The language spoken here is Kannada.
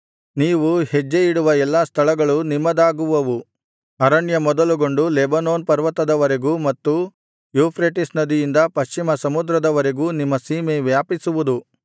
ನೀವು ಹೆಜ್ಜೆಯಿಡುವ ಎಲ್ಲಾ ಸ್ಥಳಗಳು ನಿಮ್ಮದಾಗುವವು ಅರಣ್ಯ ಮೊದಲುಗೊಂಡು ಲೆಬನೋನ್ ಪರ್ವತದ ವರೆಗೂ ಮತ್ತು ಯೂಫ್ರೆಟಿಸ್ ನದಿಯಿಂದ ಪಶ್ಚಿಮ ಸಮುದ್ರದವರೆಗೂ ನಿಮ್ಮ ಸೀಮೆ ವ್ಯಾಪಿಸುವುದು